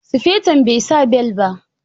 Sufeton bai sa bel ba.